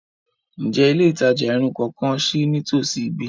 Njẹ ile itaja irun tuntun kan ṣii nitosi bi?